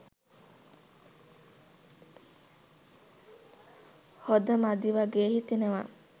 හොද මදි වගේ හිතෙනවා.